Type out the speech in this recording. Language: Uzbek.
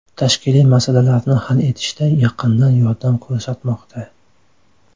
Tashkiliy masalalarni hal etishda yaqindan yordam ko‘rsatmoqda.